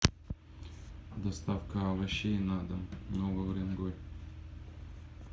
доставка овощей на дом новый уренгой